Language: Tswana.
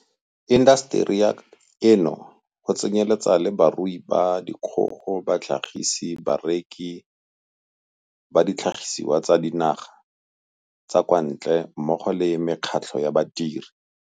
ba intaseteri eno, go tsenyeletsa le barui ba dikgogo, batlhagisi, bareki ba ditlhagisiwa tsa dinaga tsa kwa ntle mmogo le mekgatlho ya badiri.